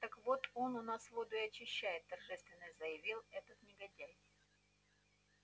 так вот он у нас воду и очищает торжественно заявил этот негодяй